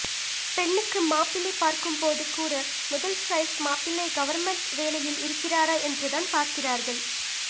பெண்ணுக்கு மாப்பிள்ளைப் பார்க்கும்போதுகூட முதல் சாய்ஸ் மாப்பிள்ளை கவர்ண்மென்ட் வேலையில் இருக்கிறாரா என்றுதான் பார்க்கிறார்கள்